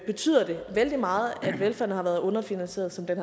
betyder det vældig meget at velfærden har været underfinansieret sådan